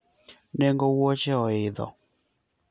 nengo wuoche oidho